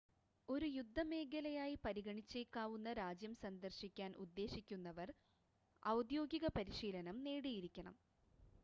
ഒരു യുദ്ധമേഖലയായി പരിഗണിച്ചേക്കാവുന്ന രാജ്യം സന്ദർശിക്കാൻ ഉദ്ദേശിക്കുന്നവർ ഔദ്യോഗിക പരിശീലനം നേടിയിരിക്കണം